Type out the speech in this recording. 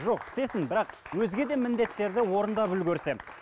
жоқ істесін бірақ өзге де міндеттерді орындап үлгерсе